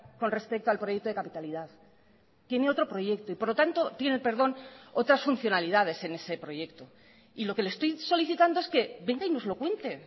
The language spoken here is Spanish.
con respecto al proyecto de capitalidad tiene otro proyecto y por lo tanto tiene perdón otras funcionalidades en ese proyecto y lo que le estoy solicitando es que venga y nos lo cuente